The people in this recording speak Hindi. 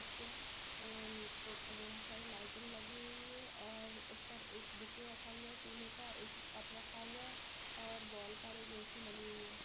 इसपे अन का बोहोत बहु सारी लाइटिंग लगी हुई है और उस पर एक बुके रखा हुआ है फूलो का एक कप रखा हुआ है और वॉल पर एक ऐ_सी लगी हुई है।